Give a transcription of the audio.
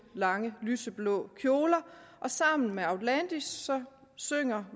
lange lyseblå kjoler og sammen med outlandish synger